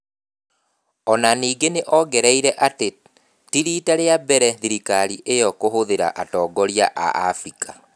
O na ningĩ nĩ ongereire atĩ ti riita rĩa mbere thirikari ĩyo kũhũthia atongoria a Abirika.